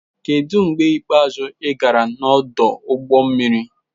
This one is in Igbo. Kedu mgbe ikpeazụ ị gara n'ọdụ ụgbọ mmiri?